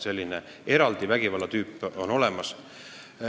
Selline eraldi vägivallatüüp on olemas.